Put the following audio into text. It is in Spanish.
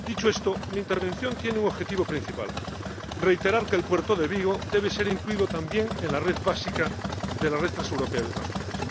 Dicho esto, mi intervención tiene un objetivo principal reiterar que el puerto de Vigo debe ser incluido también en la red principal de la Red Transeuropea de Transporte.